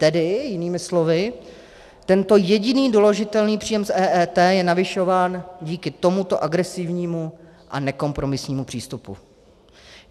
Tedy jinými slovy, tento jediný doložitelný příjem z EET je navyšován díky tomuto agresivnímu a nekompromisnímu přístupu.